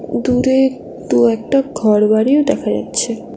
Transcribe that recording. দূরে দু-একটা ঘরবাড়িও দেখা যাচ্ছে।